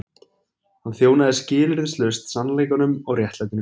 Hann þjónaði skilyrðislaust sannleikanum og réttlætinu.